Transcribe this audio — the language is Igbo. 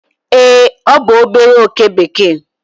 ee, ọ bụ obere oke bekee